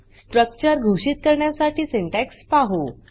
structure घोषित करण्यासाठी syntax पाहु